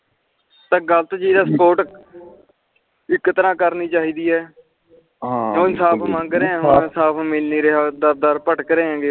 ਗ਼ਲਤ ਚੀਜ ਦਾ support ਇਕ ਤ੍ਰਾਹ ਕਰਨੀ ਚਾਹੀਦੇ ਹੈ ਜੇ ਉਹ ਇਨਸਾਫ ਮੰਗ ਰਹੇ ਆ ਇਨਸਾਫ ਮਿਲ ਨੀ ਰਿਹਾ ਡਰ ਡਰ ਭਟਕ ਰਹੇ ਹੈਗੇ